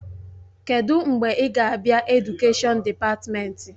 Kedụ mgbe ị ga-abịa Edukèshọn dịpatmenti?